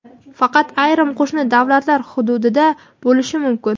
faqat ayrim qo‘shni davlatlar hududida bo‘lishi mumkin.